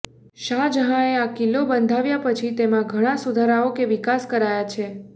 શાહજહાંએ આ કિલ્લો બંધાવ્યા પછી તેમાં ઘણાં સુધારાઓ કે વિકાસ કરાયા છે